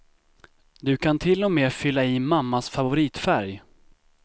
Du kan till och med fylla i mammas favoritfärg.